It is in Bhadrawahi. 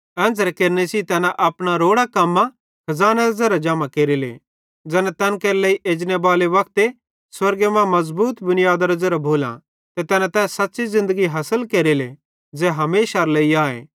एन्च़रे केरने सेइं तैना अपना रोड़ां कम्मां खज़ानेरे ज़ेरे जमा केरेले ज़ैना तैन केरे लेइ एजनेबाले वक्ते स्वर्गे मां मज़बूत मुनीयादरां ज़ेरां भोलां ते तैना तै सच़्च़ी ज़िन्दगी हासिल केरेले ज़ै हमेशारे लेइ आए